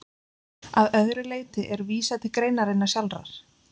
Að öðru leyti er vísað til greinarinnar sjálfrar.